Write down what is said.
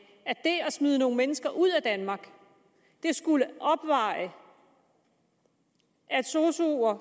smide nogle mennesker ud af danmark skulle opveje at sosuer